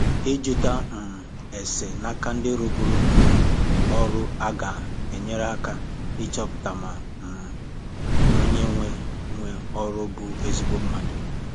Ịjụta um ese n'aka ndi rụburu um ọrụ aga enyere aka ịchọpụta ma um onye nwe nwe ọrụ bụ ezigbo mmadụ